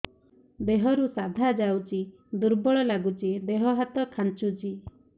ଦେହରୁ ସାଧା ଯାଉଚି ଦୁର୍ବଳ ଲାଗୁଚି ଦେହ ହାତ ଖାନ୍ଚୁଚି